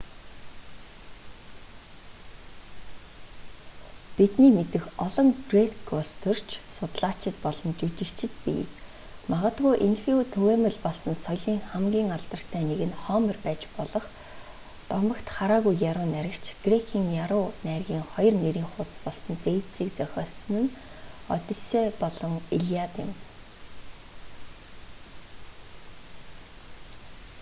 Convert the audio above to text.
бидний мэдэх олон грек улс төрч судлаачид болон жүжигчид бий магадгүй энэхүү түгээмэл болсон соёлын хамгийн алдартай нэг нь хомер байж болох дотогт хараагүй яруу найрагч грекийн яруу найргын 2 нэрийн хуудас болсон дээжисийг зохиосон нь оддисей болон илиад юм